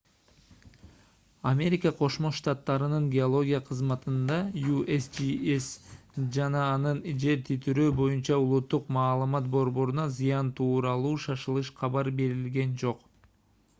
америка кошмо штаттарынын геология кызматына usgs жана анын жер титирөө боюнча улуттук маалымат борборуна зыян тууралуу шашылыш кабар берилген жок